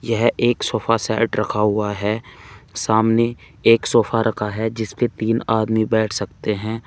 यह एक sofa set रखा हुआ है सामने एक सोफा रखा है जिसपे तीन आदमी बैठ सकते हैं।